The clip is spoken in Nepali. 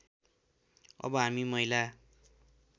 अब हामी महिला